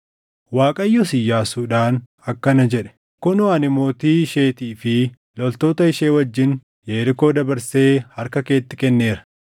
Waaqayyos Iyyaasuudhaan akkana jedhe; “Kunoo ani mootii isheetii fi loltoota ishee wajjin Yerikoo dabarsee harka keetti kenneera.